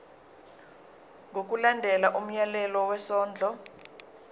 ngokulandela umyalelo wesondlo